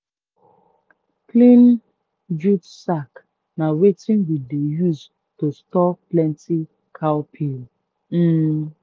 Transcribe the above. clean jute sack na wetin we dey use to store plenty cowpea. um